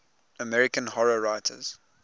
american horror writers